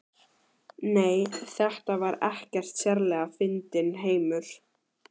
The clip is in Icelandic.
Nei, þetta var ekkert sérlega fyndinn heimur.